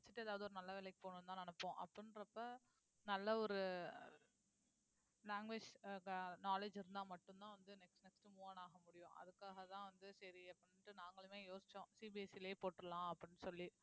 படிச்சுட்டு ஏதாவது ஒரு நல்ல வேலைக்கு போகணும்னுதான் நினைப்போம் அப்படின்றப்ப நல்ல ஒரு language knowledge இருந்தா மட்டும்தான் வந்து next next move on ஆக முடியும் அதுக்காகதான் வந்து சரி அப்படின்னுட்டு நாங்களுமே யோசிச்சோம் CBSE லயே போட்டுறலாம் அப்படின்னு சொல்லி